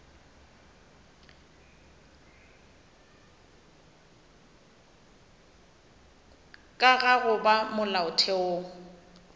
ka ga go ba molaotheong